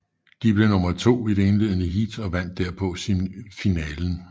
De blev nummer to i det indledende heat og vandt derpå semifinalen